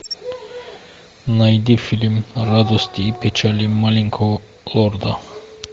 найди фильм радости и печали маленького лорда